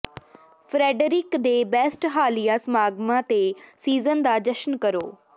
Frederick ਦੇ best ਹਾਲੀਆ ਸਮਾਗਮਾਂ ਤੇ ਸੀਜ਼ਨ ਦਾ ਜਸ਼ਨ ਕਰੋ